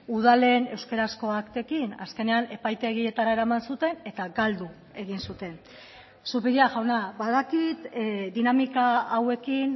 udalen euskarazko aktekin azkenean epaitegietara eraman zuten eta galdu egin zuten zupiria jauna badakit dinamika hauekin